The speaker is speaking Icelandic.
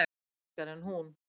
Sterkari en hún.